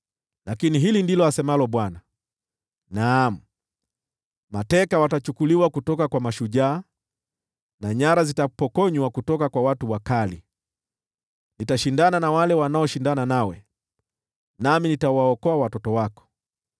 Lakini hili ndilo asemalo Bwana : “Naam, mateka watachukuliwa kutoka kwa mashujaa, na nyara zitapokonywa kutoka kwa watu wakali. Nitashindana na wale wanaoshindana nawe, nami nitawaokoa watoto wako.